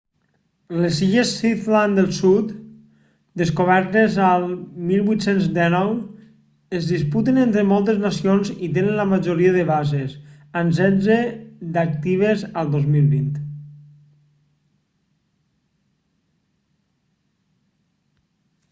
les illes shetland del sud descobertes el 1819 es disputen entre moltes nacions i tenen la majoria de bases amb setze d'actives a 2020